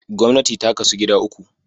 Gwamnti ta kasu gida uku